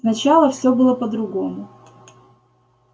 сначала все было по-другому